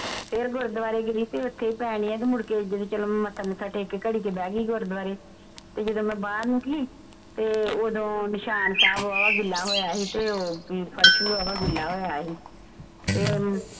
ਫੇਰ ਗੁਰਦਵਾਰੇ ਗਈ ਤੇ ਓਥੇ ਪੈਣ ਢਆ ਤੇ ਮੁੜਕੇ ਇੱਦਾਂ ਹੀ ਚੱਲ ਮੱਥਾ ਮੁਥਾ ਟੇਕ ਕੇ ਘੜੀ ਕੁ ਬਹਿ ਗਈ ਗੁਰਦਵਾਰੇ ਤੇ ਜਿਦੋਂ ਮੈਂ ਬਾਹਰ ਨਿਕਲੀ ਤੇ ਓਦੋਂ ਨਿਸ਼ਾਨ ਸਾਹਬ ਵਾਹਵਾ ਗਿੱਲਾ ਹੋਇਆ ਸੀ ਤੇ ਉਹ ਫਰਸ਼ ਵੀ ਵਾਹਵਾ ਗਿੱਲਾ ਹੋਇਆ ਸੀ ਤੇ